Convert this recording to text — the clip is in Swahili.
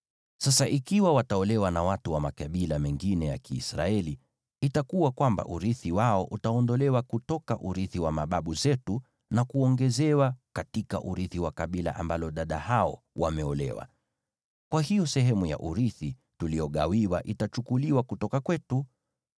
Sasa ikiwa wataolewa na watu wa makabila mengine ya Kiisraeli, itakuwa kwamba urithi wao utaondolewa kutoka urithi wa mababu zetu na kuongezwa katika urithi wa kabila ambalo dada hao wameolewa. Kwa hiyo sehemu ya urithi tuliyogawiwa itachukuliwa kutoka kwetu.